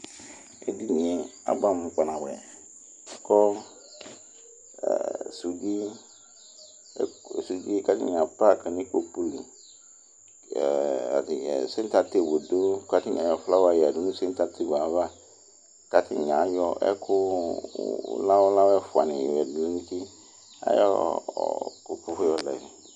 ɛdiniɛ abʋamʋ kpa nabʋɛ kɔ sʋdɛ kʋ atani apark nʋ ikpɔkʋli, center table dʋ kʋ atani ayɔ flower yɛdʋ nʋ center table aɣa kʋ atani ayɔ ɛkʋ lawʋ lawʋ ɛƒʋa ni lɛnʋ ʋti ayɔ ikpɔkʋɛ yɔlɛ